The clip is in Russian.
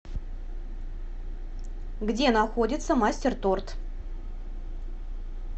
где находится мастер торт